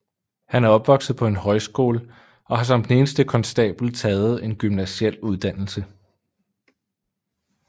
Han er opvokset på en højskole og har som den eneste konstabel taget en gymnasiel uddannelse